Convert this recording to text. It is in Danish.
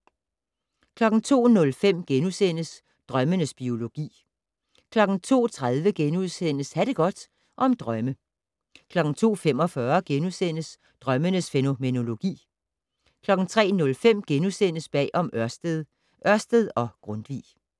02:05: Drømmenes biologi * 02:30: Ha' det godt - om drømme * 02:45: Drømmens fænomenologi * 03:05: Bag om Ørsted - Ørsted og Grundtvig *